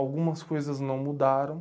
Algumas coisas não mudaram.